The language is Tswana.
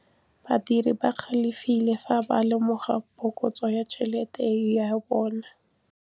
Badiri ba galefile fa ba lemoga phokotsô ya tšhelête ya bone.